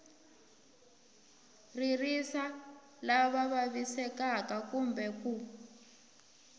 ririsa lava vavisekaku kumbe ku